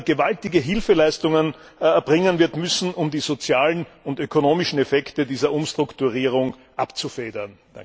gewaltige Hilfeleistungen erbringen wird müssen, um die sozialen und ökonomischen Effekte dieser Umstrukturierung abzufedern.